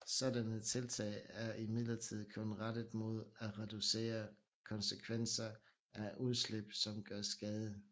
Sådanne tiltag er imidlertid kun rettet mod at reducere konsekvenser af udslip som gør skade